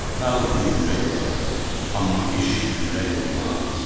Nağıl dili yüyürək olar, amma iş yüyürək olmaz.